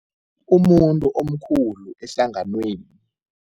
Umuntu omkhulu ehlanganweni.